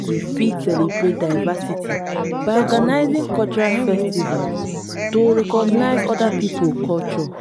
we fit celebrate diversity by organising cultural festivals to recognise oda pipo culture